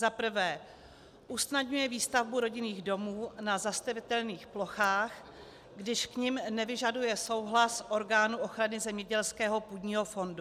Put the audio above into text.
Za prvé usnadňuje výstavbu rodinných domů na zastavitelných plochách, když k nim nevyžaduje souhlas orgánu ochrany zemědělského půdního fondu.